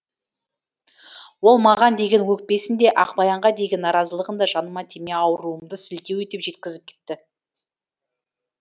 ол маған деген өкпесін де ақбаянға деген наразылығын да жаныма тимей ауруымды сылтау етіп жеткізіп кетті